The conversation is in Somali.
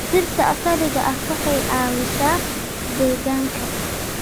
Dhirta asaliga ah waxay ka caawisaa deegaanka.